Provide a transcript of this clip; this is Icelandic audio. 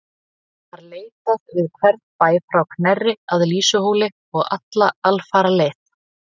Var leitað við hvern bæ frá Knerri að Lýsuhóli og alla alfaraleið.